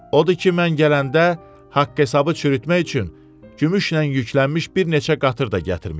Odur ki mən gələndə haqq hesabı çürütmək üçün gümüşlə yüklənmiş bir neçə qatır da gətirmişəm.